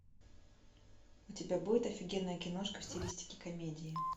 у тебя будет офигенная киношка в стилистике комедии